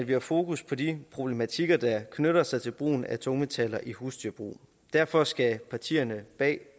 vi har fokus på de problematikker der knytter sig til brugen af tungmetaller i husdyrbrug derfor skal partierne bag